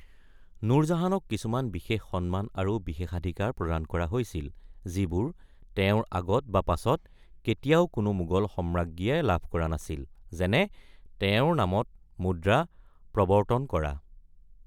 নুৰজাহানক কিছুমান বিশেষ সন্মান আৰু বিশেষাধিকাৰ প্ৰদান কৰা হৈছিল যিবোৰ তেওঁৰ আগত বা পাছত কেতিয়াও কোনো মোগল সম্ৰাজ্ঞীয়ে লাভ কৰা নাছিল, যেনে তেওঁৰ নামত মুদ্ৰা প্ৰৱৰ্তন কৰা।